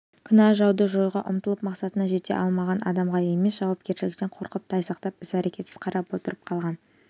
кінә жауды жоюға ұмтылып мақсатына жете алмаған адамға емес жауапкершіліктен қорқып тайсақтап іс-әрекетсіз қарап отырып қалған